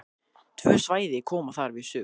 Tvö svæði koma þar við sögu.